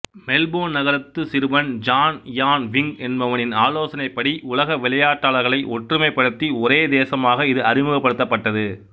Melbourne நகரத்து சிறுவன் John Ian Wing என்பவனின் ஆலோசனைப்படி உலக விளையாட்டாளர்களை ஒற்றுமைப்படுத்தி ஒரே தேசமாக்க இது அறிமுகப்படுத்தப்பட்டது